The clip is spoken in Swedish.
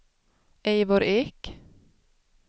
Eivor Ek